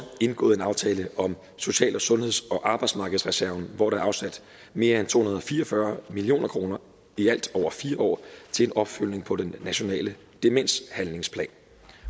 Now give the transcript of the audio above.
indgået en aftale om social og sundheds og arbejdsmarkedsreserven hvor der er afsat mere end to hundrede og fire og fyrre million kroner i alt over fire år til opfølgning på den nationale demenshandlingsplan